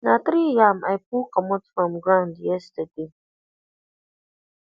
na three yam i pull comot from ground yesterday